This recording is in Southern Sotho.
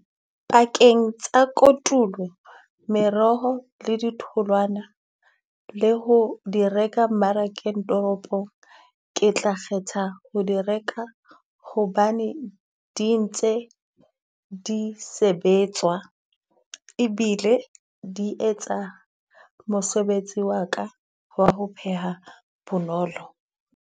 Pakeng tsa kotulo, meroho le di tholwana le ho di reka mmarakeng toropong. Ke tla kgetha ho di reka hobane di ntse di sebetswa e bile di etsa mosebetsi wa ka ho re ho pheha bonolo.